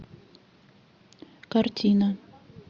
картина